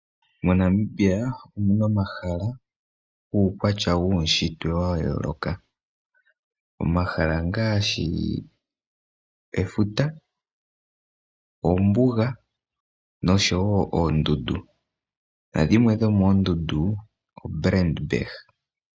MoNamibia omuna omahala guukwatya wuunshitwe wayooloka. Omahala ongaashi efuta, ombuga noshowoo oondundu. Dhimwe dhomoondundu odho oBrand Berg.